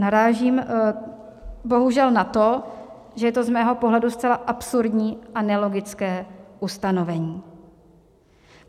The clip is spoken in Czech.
Narážím bohužel na to, že je to z mého pohledu zcela absurdní a nelogické ustanovení.